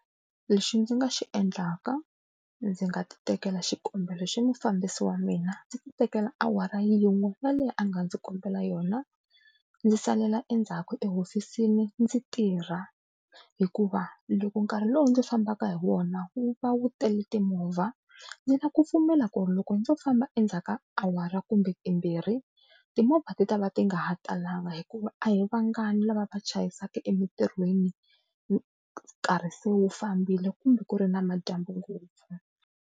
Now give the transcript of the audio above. Lexi ndzi nga xi endlaka ndzi nga ti tekela xikombelo xa mufambisi wa mina ndzi ti tekela awara yin'we yaleyo a nga ndzi kombela yona, ndzi salela endzhaku tihofisini ndzi tirha hikuva loko nkarhi lowu ndzi fambaka hi wona wu va wu tele timovha ndzi na ku pfumela ku ri loko ndzo famba endzhaku ka awara kumbe timbirhi timovha ti ta va ti nga ha talanga hikuva a hi vangani lava va chayisaka emintirhweni karhi se wu fambile kumbe ku ri na madyambu ngopfu.